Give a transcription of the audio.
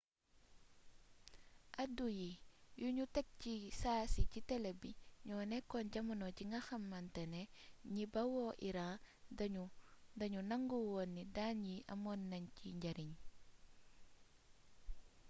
addu yi yuñu teg ci saasi ci tele bi ñoo nekkoon jamono ji nga xamantane ñi bawoo iran dañoo nangu woon ni daan yi amoon nañ ci njariñ